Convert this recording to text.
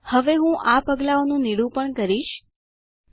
હવે હું આ પગલાંઓનું નિરૂપણ ડેમોનસ્ટ્રેટ કરીશ